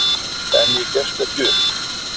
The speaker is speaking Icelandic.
En ég gefst ekki upp.